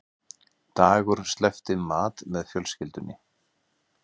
Dagur sleppti mat með fjölskyldunni